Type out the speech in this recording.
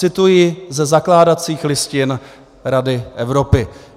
Cituji ze zakládacích listin Rady Evropy.